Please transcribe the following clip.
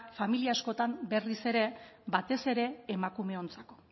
familia askotan berriz ere batez ere emakumeontzako